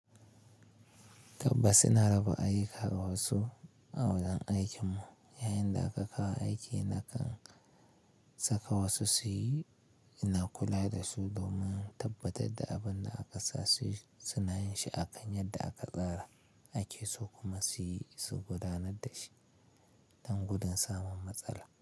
Tabbas ina raba ayyuka ga wasu a wurin aikinmu. Yayin da aka kawo aiki, nakan saka wasu su yi, ina kula da su domin tabbatar da abin da aka sa su yi, suna yin shi akan yadda aka tsara ake so kuma su yi, su gudanar da shi don gudun samun matsala.